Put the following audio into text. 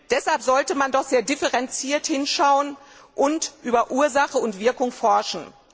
Deshalb sollte man doch sehr differenziert hinschauen und über Ursache und Wirkung forschen.